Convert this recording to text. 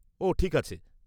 -ও ঠিক আছে।